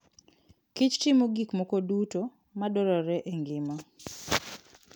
kich timo gik moko duto madwarore e ngima.